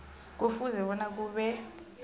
kufuze bona kube